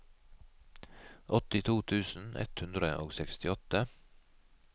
åttito tusen ett hundre og sekstiåtte